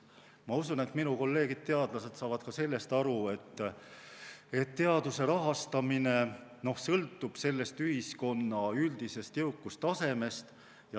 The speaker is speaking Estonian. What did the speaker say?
Ma usun, et minu kolleegid teadlased saavad ka sellest aru, et teaduse rahastamine sõltub ühiskonna üldisest jõukustasemest.